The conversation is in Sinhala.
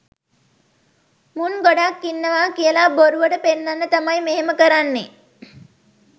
මුන් ගොඩක් ඉන්නවා කියලා බොරුවට පෙන්නන්න තමයි මෙහෙම කරන්නේ.